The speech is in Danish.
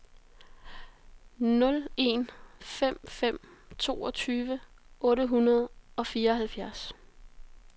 nul en fem fem toogtyve otte hundrede og fireoghalvfjerds